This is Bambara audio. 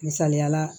Misaliyala